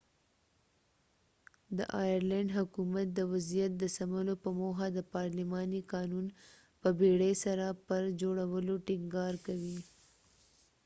د آیرلینډ حکومت د وضعیت د سمولو په موخه د پارلماني قانون په بیړې سره پر جوړولو ټینګار کوي